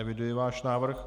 Eviduji váš návrh.